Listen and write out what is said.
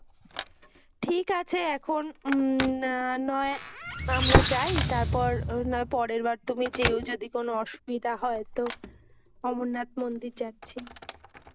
ঠিক আছে, এখন উম নয় আমরা যাই তারপর না হয় পরের বার তুমি যেও, যদি কোনো অসুবিধা হয় তো। অমরনাথ মন্দির যাচ্ছি।